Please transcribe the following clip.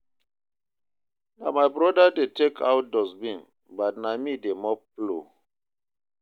Na my brother dey take out dustbin, but na me dey mop floor